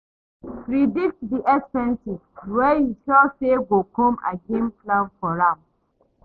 Predict di expenses wey you sure sey go come again plan for am